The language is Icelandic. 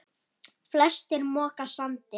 Flestir moka sandi.